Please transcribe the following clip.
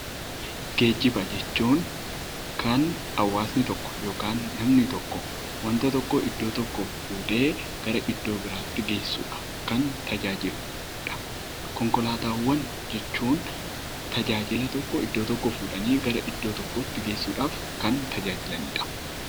Geejjiba jechuun kan hawaasni tokko yookiin namni tokko wanta tokko iddoo tokkoo fuudhee iddoo biraatti geessuudhan kan tajaajiludha. Konkolaataawwan jechuun tajaajila tokko iddoo tokkoo fuudhanii gara iddoo biraatti geessuudhaf kan tajaajilanidha.